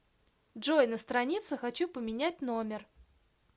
джой на странице хочу поменять номер